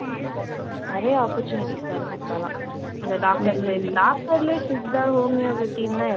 நிறைய opportunities வருது இப்பெல்லாம் அந்த doctors ஏ. இப்ப doctor லயே சித்தா, ஹோமியோபதி